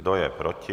Kdo je proti?